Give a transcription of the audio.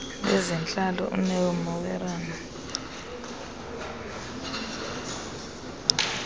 lwezentlalo uneo moerane